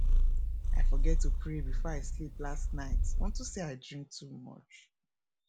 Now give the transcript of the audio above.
i forget to pray before i sleep last night unto say i drink too much